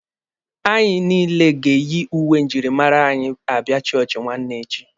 Anyị niile ga-eyi uwe njirimara anyị abịa chọọchị nwanne echi.